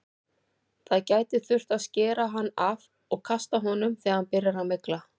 Það gæti þurft að skera hann af og kasta honum þegar hann byrjar að mygla.